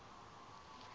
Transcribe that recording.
emakhanda